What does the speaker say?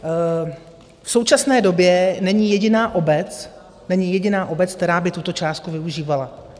V současné době není jediná obec, která by tuto částku využívala.